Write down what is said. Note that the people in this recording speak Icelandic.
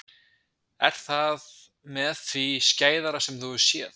Er það með því skæðara sem þú hefur séð?